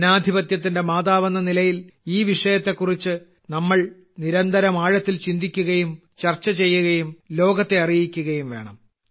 ജനാധിപത്യത്തിന്റെ മാതാവെന്ന നിലയിൽ ഈ വിഷയത്തെക്കുറിച്ച് നമ്മൾ നിരന്തരം ആഴത്തിൽ ചിന്തിക്കുകയും ചർച്ച ചെയ്യുകയും ലോകത്തെ അറിയിക്കുകയും വേണം